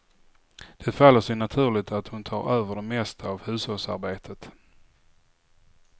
Det faller sig naturligt att hon tar över det mesta av hushållsarbetet.